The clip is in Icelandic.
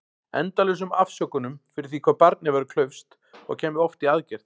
Endalausum afsökunum fyrir því hvað barnið væri klaufskt- og kæmi oft í aðgerð.